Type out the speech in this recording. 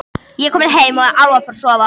Ég er kominn heim og alveg að fara að sofa.